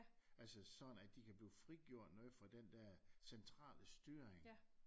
Altså sådan at de kan blive frigjort noget fra den der centrale styring